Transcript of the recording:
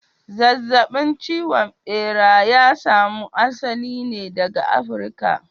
Zazzabin cizon bera ya samo asali ne daga Africa.